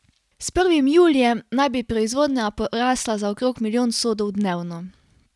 S prvim julijem naj bi proizvodnja porasla za okrog milijon sodov dnevno.